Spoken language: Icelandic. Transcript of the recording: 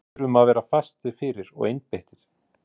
Við þurfum að vera fastir fyrir og einbeittir.